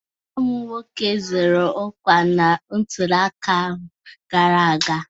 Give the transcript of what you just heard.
Nwa m nwoke zọrọ ọkwa na ntụliaka ahụ gara aga.